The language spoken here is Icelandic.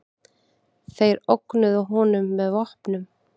Þeir ógnuðu honum með vopnum.